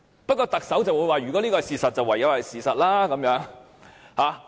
不過，特首卻說，如果這是事實，便唯有是事實。